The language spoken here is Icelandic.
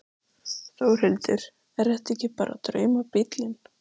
Þórhildur: Er þetta ekki bara draumabíllinn?